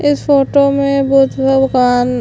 इस फोटो में बुध्द भगवान --